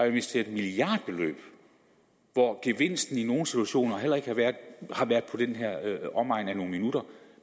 investeret milliardbeløb hvor gevinsten i nogle situationer har været i omegnen af nogle minutter